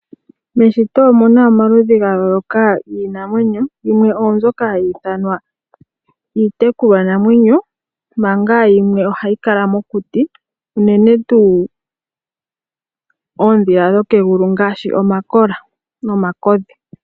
Muusshitwe omuna omaludhi ga yooloka giinamwenyo yimwe oyo mbyoka hayi ithanwa iitekulwa namwenyo manga yimwe ohayi kala mokuti unene tuu oondhila dhokegulu ngashi omakola nomakodhi.